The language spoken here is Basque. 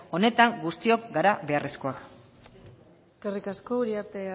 honetan guztiok gara beharrezkoak eskerrik asko uriarte